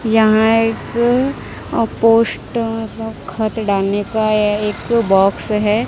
यहां एक पोस्ट खत डालनेका है एक बॉक्स है।